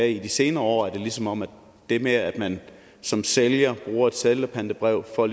i de senere år er det som om det med at man som sælger bruger et sælgerpantebrev for